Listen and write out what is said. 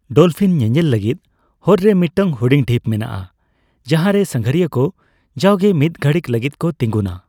Dolphin ᱧᱮᱧᱮᱞ ᱞᱟᱹᱜᱤᱫ ᱦᱚᱨ ᱨᱮ ᱢᱤᱫᱴᱟᱝ ᱦᱩᱰᱤᱧ ᱰᱷᱤᱯ ᱢᱮᱱᱟᱜᱼᱟ, ᱡᱟᱦᱟᱸᱨᱮ ᱥᱟᱸᱜᱷᱟᱨᱤᱭᱟᱹ ᱠᱚ ᱡᱟᱣᱜᱮ ᱢᱤᱫ ᱜᱷᱟᱹᱲᱤᱡᱽ ᱞᱟᱹᱜᱤᱫᱠᱚ ᱛᱤᱸᱜᱩᱱᱟ ᱾